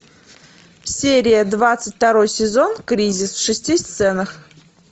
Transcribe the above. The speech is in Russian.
серия двадцать второй сезон кризис в шести сценах